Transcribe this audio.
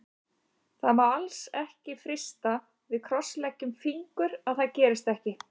Það má alls ekki frysta, við krossleggjum fingur að það gerist ekki.